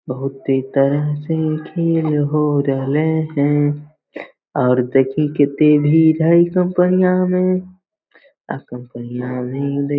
बहुत तेज़ तरह से होरल है और देखे कितनी भी बही कंपनिया में और कंपनिया नही देय --